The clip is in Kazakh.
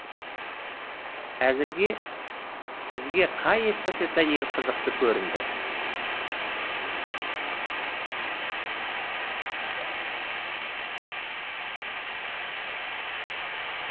әзірге сізге қай эстафета ең қызықты көрінді